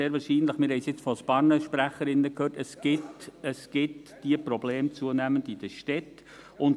Sehr wahrscheinlich, wir haben es jetzt von verschiedenen Sprecherinnen gehört, gibt es diese Probleme zunehmend in den Städten.